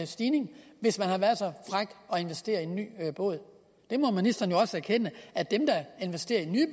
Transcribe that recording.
stigning hvis vedkommende har været så fræk at investere i en ny båd ministeren må også erkende at dem der investerer i nye